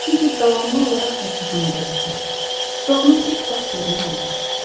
Çünki davamlı olaraq xəstəxanada yatır və onu heç vaxt görmək olmaz.